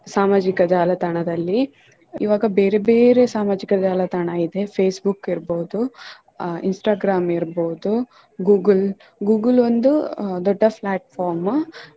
ಸಾಮಾಜಿಕ ಜಾಲತಾಣದಲ್ಲಿ ಈವಾಗ ಬೇರೆ ಬೇರೆ ಸಾಮಾಜಿಕ ಜಾಲತಾಣ ಇದೆ Facebook ಇರ್ಬಹುದು ಅಹ್ Instagram ಇರ್ಬಹುದು Google, Google ಒಂದು ದೊಡ್ಡ platform .